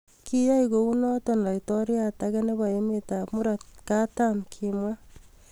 Kiyai kounoto laitoriat age nebo emetab murot katam, kimwa